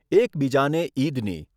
એકબીજાને ઇદની